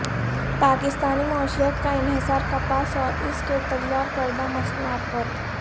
پاکستانی معیشت کا انحصار کپاس اور اس سے تیارکردہ مصنوعات پر ہے